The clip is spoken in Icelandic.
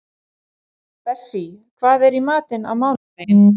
Bessí, hvað er í matinn á mánudaginn?